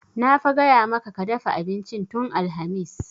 Na fa gaya maka ka dafa abincin tun alhamis!